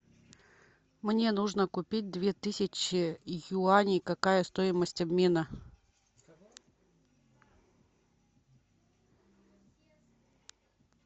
мне нужно купить две тысячи юаней какая стоимость обмена